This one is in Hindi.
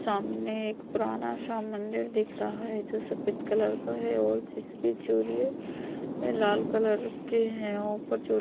सामने एक पुराना सा मंदरी दिख रहा है जो सफेद कलर का है और जिसकी लाल कलर के है और ऊपर जो--